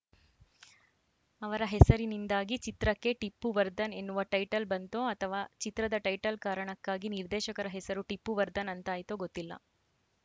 ಅವರ ಹೆಸರಿನಿಂದಾಗಿ ಚಿತ್ರಕ್ಕೆ ಟಿಪ್ಪು ವರ್ಧನ್‌ ಎನ್ನುವ ಟೈಟಲ್‌ ಬಂತೋ ಅಥವಾ ಚಿತ್ರದ ಟೈಟಲ್‌ ಕಾರಣ್ಕಾಗಿ ನಿರ್ದೇಶಕರ ಹೆಸರು ಟಿಪ್ಪು ವರ್ಧನ್‌ ಅಂತಾಯಿತೋ ಗೊತ್ತಿಲ್ಲ